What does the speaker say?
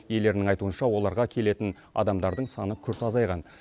иелерінің айтуынша оларға келетін адамдардың саны күрт азайған